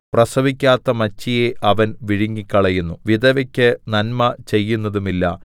പ്രസവിക്കാത്ത മച്ചിയെ അവൻ വിഴുങ്ങിക്കളയുന്നു വിധവയ്ക്ക് നന്മ ചെയ്യുന്നതുമില്ല